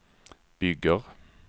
bygger